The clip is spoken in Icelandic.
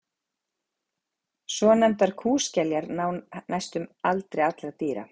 svonefndar kúskeljar ná hæstum aldri allra dýra